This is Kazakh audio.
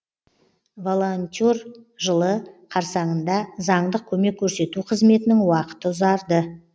волонтер жылы қарсаңында заңдық көмек көрсету қызметінің уақыты ұзарды